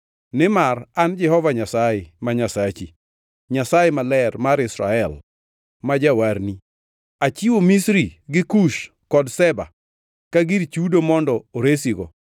Nimar an Jehova Nyasaye, ma Nyasachi, Nyasaye Maler mar Israel, ma Jawarni; achiwo Misri gi Kush kod Seba ka gir chudo mondo oresigo.